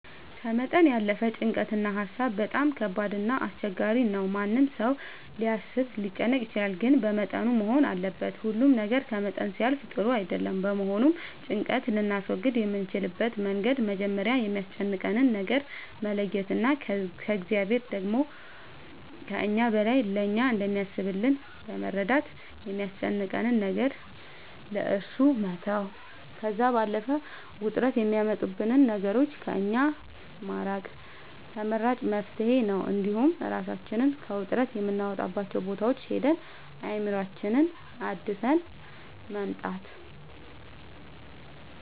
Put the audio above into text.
ከመጠን ያለፈ ጭንቀት እና ሀሳብ በጣም ከባድ እና አስቸጋሪ ነው ማንም ሰው ሊያስብ ሊጨነቅ ይችላል ግን በመጠኑ መሆን አለበት ሁሉ ነገር ከመጠን ሲያልፍ ጥሩ አይደለም በመሆኑም ጭንቀት ልናስወግድ የምንችልበት መንገድ መጀመሪያ የሚያስጨንቀንን ነገር መለየት እና እግዚአብሔር ደግሞ ከእኛ በላይ ለእኛ እንደሚያስብልን በመረዳት የሚያስጨንቀንን ነገር ለእሱ መተው ከዛም ባለፈ ውጥረት የሚያመጡብንን ነገሮች ከእኛ ማራቅ ተመራጭ መፍትሄ ነው እንዲሁም እራሳችንን ከውጥረት የምናወጣባቸው ቦታዎች ሄደን አእምሮአችንን አድሰን መምጣት